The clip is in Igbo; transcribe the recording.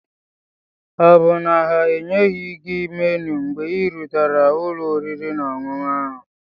Ọ bụ na ha enyeghị gị menu mgbe ị rutere ụlọ oriri na ọṅụṅụ ahụ?